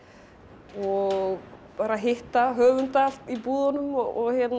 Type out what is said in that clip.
og bara að hitta höfunda í búðunum og